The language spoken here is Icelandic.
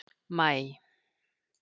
maí